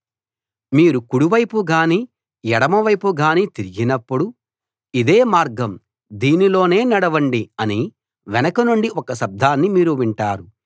మీరు కుడి వైపు గానీ ఎడమ వైపు గానీ తిరిగినప్పుడు ఇదే మార్గం దీనిలోనే నడవండి అని వెనుక నుండి ఒక శబ్దాన్ని మీరు వింటారు